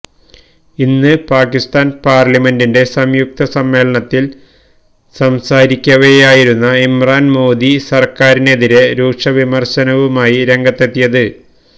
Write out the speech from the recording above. ഇന്ന് പാകിസ്താന് പാര്ലമെന്റിന്റെ സംയുക്ത സമ്മേളനത്തില് സംസാരിക്കവെയായിരുന്നു ഇമ്രാന് മോദി സര്ക്കാരിനെതിരെ രൂക്ഷ വിമര്ശനവുമായി രംഗത്തെത്തിയത്